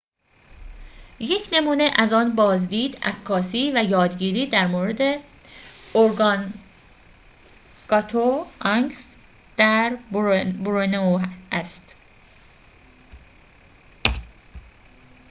یک نمونه از آن بازدید عکاسی و یادگیری در مورد ارگانگاتوآنگز در بورنئو است